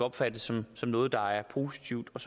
opfattet som noget der er positivt og